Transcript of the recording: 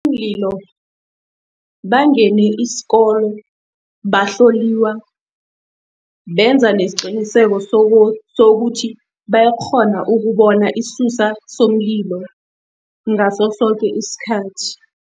Bangene isikolo, bahloliwa, benza nesiqiniseko sokuthi bayakghona ukubona isisusa somlilo ngaso soke isikhathi.